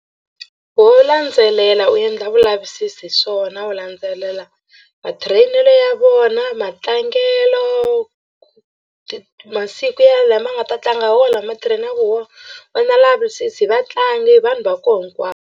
Ho landzelela u endla vulavisisi hi swona u landzelela ma-train-elo ya vona matlangelo ku ti masiku ya lama nga ta tlanga hi wo lama train-aku hi wona u ma lavisisi hi vatlangi hi vanhu va koho hinkwavo.